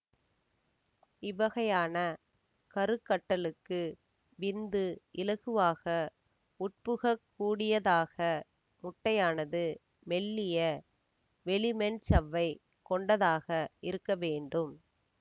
இவ்வகையான கருக்கட்டலுக்கு விந்து இலகுவாக உட்புகக் கூடியதாக முட்டையானது மெல்லிய வெளிமென்சவ்வைக் கொண்டதாக இருக்க வேண்டும்